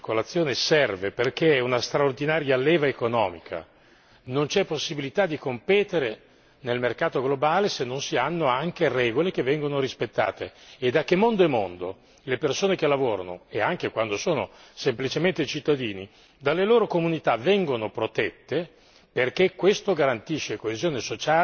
Dovete convincervi la libertà di circolazione serve perché è una straordinaria leva economica non c'è possibilità di competere nel mercato globale se non si hanno anche regole che vengono rispettate e da che mondo è mondo le persone che lavorano, e anche quando sono semplicemente cittadini, dalle loro comunità vengono protette